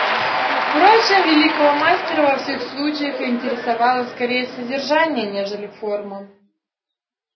впрочем великого мастера во всех случаях интересовало скорее содержание нежели форма